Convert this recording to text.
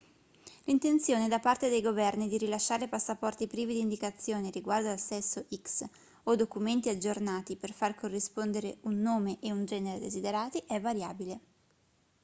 l'intenzione da parte dei governi di rilasciare passaporti privi di indicazioni riguardo al sesso x o documenti aggiornati per far corrispondere un nome e un genere desiderati è variabile